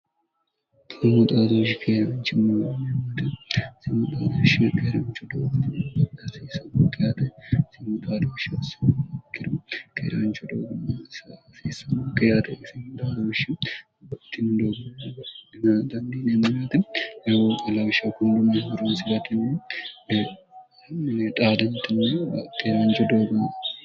imoxaadooshi keerebichi monimote simoxalooshshe geerebicho doogotniasisomoqi yaate simoxaalooshshi siikkiru keeraancho doogomm sfiismokke yatoisi ashshi ottini dooggommo ina dandiineminaati legooolawisha kunlumehuroosiwtnn mieexaantinkeeraancho doogon